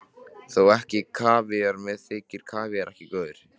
Þó ekki kavíar, mér þykir kavíar ekki góður.